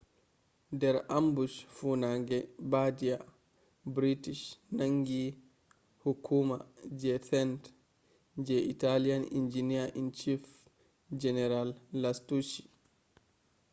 der ambush fuunange bardia british nangi hukuma je tenth je italian engineer-in-chief general lastucci